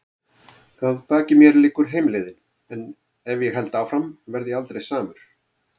Að baki mér liggur heimleiðin- en ef ég held áfram verð ég aldrei samur.